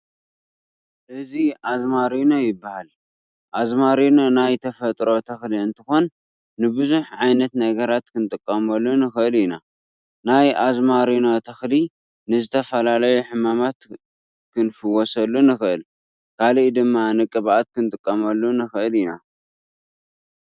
እዚ ኣዝማሪኖ ይባሃል። ኣዝማሪኖ ናይ ተፈጥሮ ተክሊ እንትኮን ንቡዙሕ ዓይነት ነገራት ክንጥቀመሉ ንክእል ኢና። ናይ ኣዝማሪኖ ተክሊ ንዝተፈላለዩ ሕማማት ክንፍወሰሉ ንክእል፤ ካሊእ ድማ ንቅብኣት ክንጥቀመሉ ንክእል ኢና።